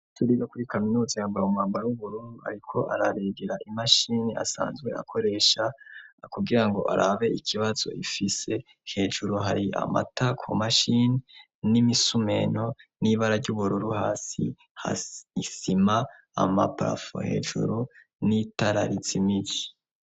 Turiga kuri kaminuza yambawe mumwambara w'uburunu, ariko ararigera imashini asanzwe akoresha kugira ngo arabe ikibazo ifise hejuru hari amata ku mashini n'imisumeno n'ibara ry'ubururu hasi haisima amapafu hejuru n'itararisi imiji.